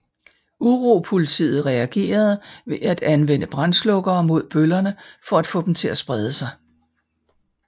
Uropolitiet reagerede ved at anvende brandslukkere mod bøllerne for at få dem til at sprede sig